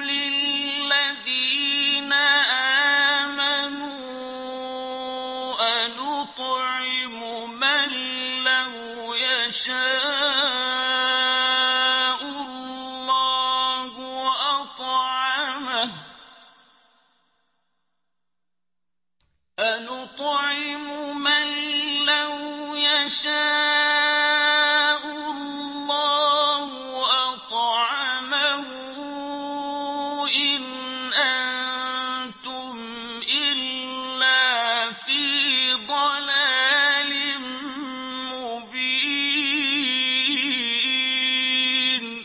لِلَّذِينَ آمَنُوا أَنُطْعِمُ مَن لَّوْ يَشَاءُ اللَّهُ أَطْعَمَهُ إِنْ أَنتُمْ إِلَّا فِي ضَلَالٍ مُّبِينٍ